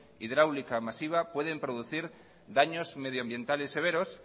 hidráulica masiva pueden producir daños medioambientales severos